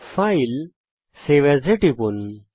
ফাইলেগটগট save As এ টিপুন